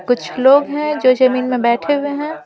कुछ लोग हैं जो जमीन में बैठे हुए हैं ।